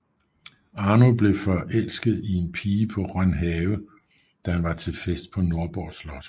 Arno blev forelsket i en pige på Rønhave da han var til fest på Nordborg Slot